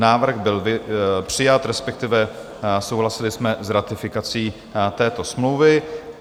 Návrh by přijat, respektive souhlasili jsme s ratifikací této smlouvy.